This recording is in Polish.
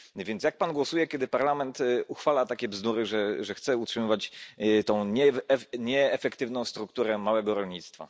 Jak więc Pan głosuje, kiedy Parlament uchwala takie bzdury, że chce utrzymywać tę nieefektywną strukturę małego rolnictwa?